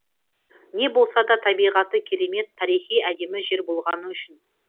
не болмаса табиғаты керемет тарихи әдемі жер болғаны үшін